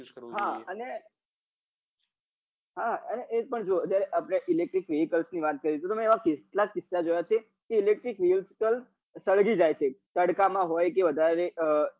use કરવું જોઈએ હા અને એ પણ જોવો ક આપડે electric vehicle ની વાત કરીએ તો તમે એવા કેટલા કિસ્સા જોયા છે કે electric vehicle સળગી જાય છે તડકા માં હોય કે વધારે